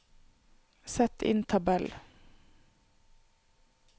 Sett inn tabell